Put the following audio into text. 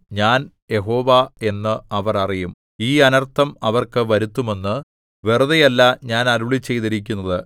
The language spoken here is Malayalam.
ഞാൻ യഹോവ എന്ന് അവർ അറിയും ഈ അനർത്ഥം അവർക്ക് വരുത്തുമെന്ന് വെറുതെയല്ല ഞാൻ അരുളിച്ചെയ്തിരിക്കുന്നത്